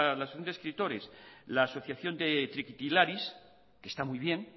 de escritores la asociación de trikitilaris que está muy bien